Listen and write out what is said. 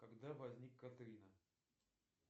когда возник катрина